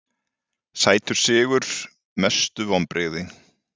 sætur sigur Mestu vonbrigði?